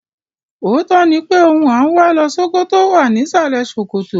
Òótọ́ ni pé ohun à ń wá lọ Ṣókótó wà ní ìsàlẹ̀ ṣòkòtò.